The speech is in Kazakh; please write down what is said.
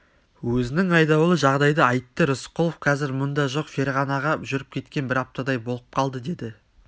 өзінің айдауылы жағдайды айтты рысқұлов қазір мұнда жоқ ферғанаға жүріп кеткен бір аптадай болып қалды деді